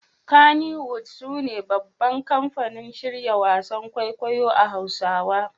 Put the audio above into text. Kannywood sune babban kamfanin shirya wasan kwaikwayo a Hausawa